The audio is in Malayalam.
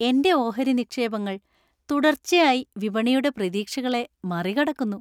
എന്‍റെ ഓഹരി നിക്ഷേപങ്ങൾ തുടർച്ചയായി വിപണിയുടെ പ്രതീക്ഷകളെ മറികടക്കുന്നു.